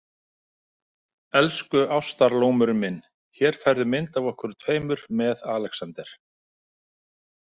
Elsku Ástarlómurinn minn, hér færðu mynd af okkur tveimur með Alexander.